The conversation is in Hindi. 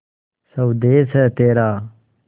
स्वदेस है तेरा